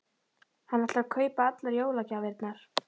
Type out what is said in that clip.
Hann ætlar að kaupa allar jólagjafirnar.